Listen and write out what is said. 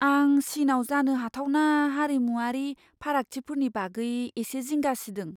आं चिनआव जानो हाथावना हारिमुआरि फारागथिफोरनि बागै एसे जिंगा सिदों।